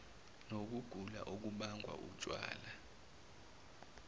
nokugula okubangwa wutshwala